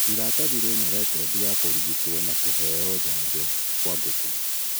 Iratathi rĩna rekondi ya kũrigitwo na kũheo njanjo kwa ngũkũ